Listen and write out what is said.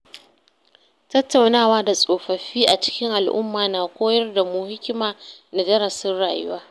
Tattaunawa da tsofaffi a cikin al’umma na koyar da mu hikima da darasin rayuwa.